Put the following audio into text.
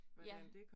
Ja